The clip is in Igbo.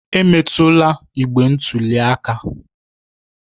Emetụla igbe ntụli aka